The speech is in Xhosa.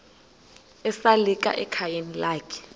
esalika ekhayeni lakhe